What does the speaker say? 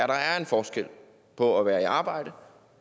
der er en forskel på at være i arbejde